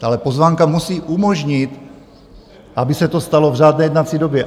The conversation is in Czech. Ale pozvánka musí umožnit, aby se to stalo v řádné jednací době.